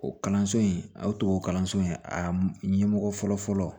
O kalanso in a y'o tubabu kalanso in a ɲɛmɔgɔ fɔlɔfɔlɔ